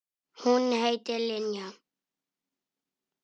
Hún heitir Linja.